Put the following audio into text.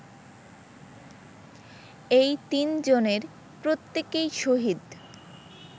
এই তিনজনের প্রত্যেকেই শহীদ